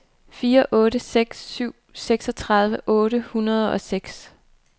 fire otte seks syv seksogtredive otte hundrede og seks